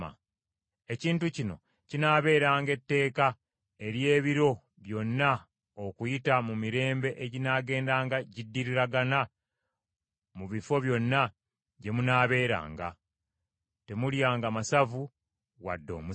“ ‘Ekintu kino kinaabeeranga etteeka ery’ebiro byonna okuyita mu mirembe eginaagendanga giddiriragana mu bifo byonna gye munaabeeranga. Temulyanga masavu wadde omusaayi.’ ”